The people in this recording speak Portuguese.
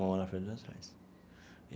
Uma mão na frente e outra atrás.